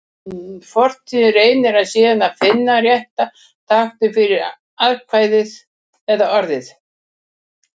Forritið reynir síðan að finna rétta táknið fyrir atkvæðið eða orðið.